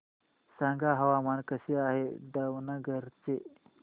सांगा हवामान कसे आहे दावणगेरे चे